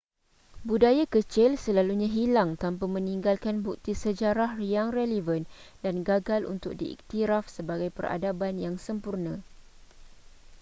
budaya kecil selalunya hilang tanpa meninggalkan bukti sejarah yang relevan dan gagal untuk diiktiraf sebagai peradaban yang sempurna